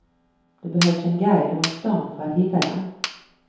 Det behövs en guide runt stan för att hitta den.